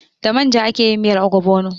Da manja ake yin miyar ogbono.